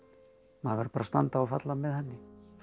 maður verður bara að standa og falla með henni